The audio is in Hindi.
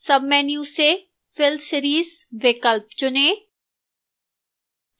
सबमेन्यू से fill series विकल्प चुनें